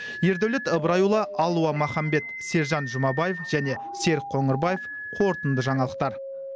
ердәулет ыбырайұылы алуа маханбет сержан жұмабаев және серік қоңырбаев қорытынды жаңалықтар